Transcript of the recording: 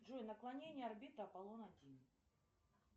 джой наклонение орбиты аполлон один